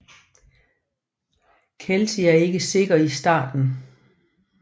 Kelsi er ikke sikker i starten